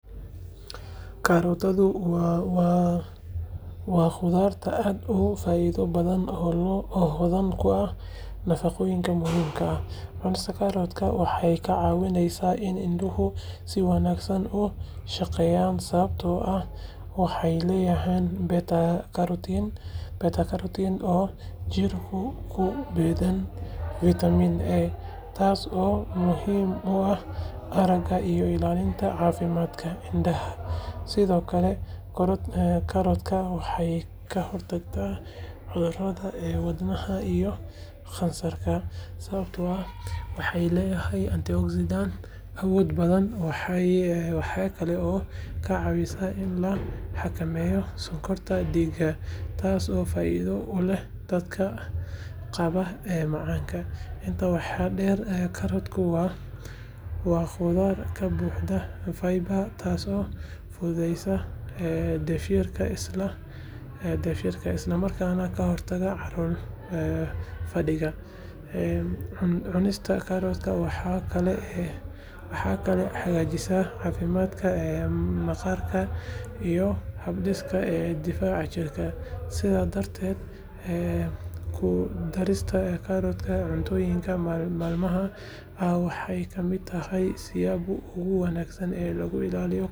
Karootadu waa khudrad aad u faa’iido badan oo hodan ku ah nafaqooyin muhiim ah. Cunista karootka waxay ka caawisaa in indhuhu si wanaagsan u shaqeeyaan sababtoo ah waxay leedahay beta-karotiin oo jidhku u beddelo fiitamiin A, taasoo muhiim u ah aragga iyo ilaalinta caafimaadka indhaha. Sidoo kale, karootadu waxay ka hortagtaa cudurrada wadnaha iyo kansarka sababtoo ah waxay leedahay antioxidants awood badan. Waxay kaloo ka caawisaa in la xakameeyo sonkorta dhiigga, taasoo faa’iido u leh dadka qaba macaanka. Intaa waxaa dheer, karootadu waa khudrad ka buuxda fiber, taasoo fududeysa dheefshiidka isla markaana ka hortagta calool fadhiga. Cunista karootka waxay kaloo hagaajisaa caafimaadka maqaarka iyo habdhiska difaaca jidhka. Sidaa darteed, ku darista karootka cuntooyinkaaga maalinlaha ah waxay ka mid tahay siyaabaha ugu wanaagsan ee lagu ilaalin karo caafimaadka guud..